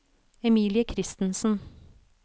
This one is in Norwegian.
Emilie Kristensen